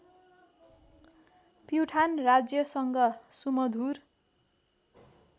प्युठान राज्यसँग सुमधुर